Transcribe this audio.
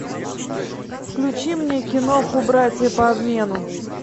включи мне киноху братья по обмену